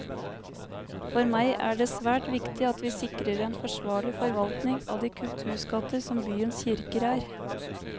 For meg er det svært viktig at vi sikrer en forsvarlig forvaltning av de kulturskatter som byens kirker er.